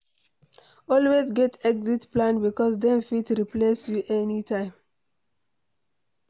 Always get exit plan because dem fit replace you anytime